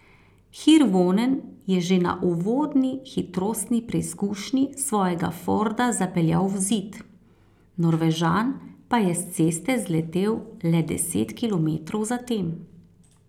Hirvonen je že na uvodni hitrostni preizkušnji svojega Forda zapeljal v zid, Norvežan pa je s ceste zletel le deset kilometrov zatem.